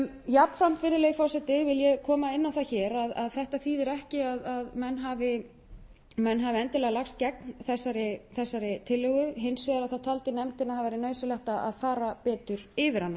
jafnframt virðulegi forseti vil ég koma inn á það hér að þetta þýðir ekki að menn hafi endilega lagst gegn þessari tillögu hins vegar taldi nefndin að það væri nauðsynlegt að fara betur yfir